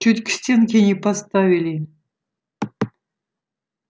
чуть к стенке не поставили